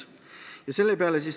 Ta küsis, kas selle peale on mõeldud.